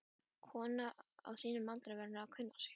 Kona á þínum aldri verður að kunna sig.